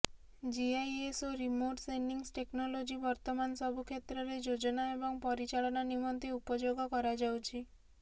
GIS ଓ remote sensing technology ବର୍ତମାନ ସବୁ କ୍ଷେତ୍ରରେ ଯୋଜନା ଏବଂ ପରିଚାଳନା ନିମନ୍ତେ ଉପଯୋଗ କରାଯାଉଛି